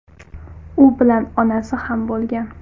U bilan onasi ham bo‘lgan.